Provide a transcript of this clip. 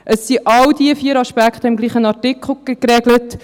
Es sind all diese vier Aspekte im gleichen Artikel geregelt.